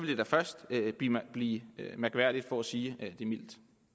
det da først blive mærkværdigt for at sige det mildt